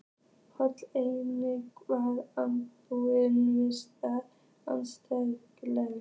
Páll: Hvernig var andrúmsloftið svakalegt?